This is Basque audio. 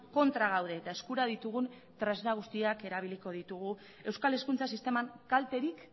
kontra gaude eta eskura ditugun tresna guztiak erabiliko ditugu euskal hezkuntza sisteman kalterik